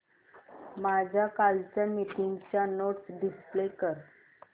माझ्या कालच्या मीटिंगच्या नोट्स डिस्प्ले कर